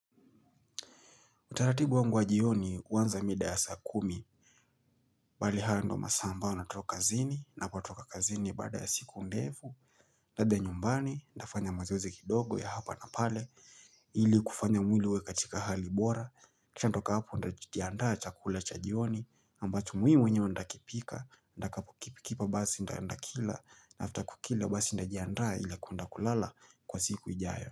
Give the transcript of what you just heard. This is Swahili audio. Utaratibu wangu wa jioni huanza mida ya saa kumi, bali hayo ndio masaa ambayo natoka kazini, ninapo toka kazini baada ya siku ndefu, niende nyumbani, ndafanya mazoezi kidogo ya hapa na pale, ili kufanya mwiliwe katika hali bora, chandoka hapu ndajitiandaa chakula cha jioni, ambacho muhimu nyo ndakipika, ndakapo kipikipa basi ndakila, na hafta kukila basi ndajiandaa ili kundakulala kwa siku ijayo.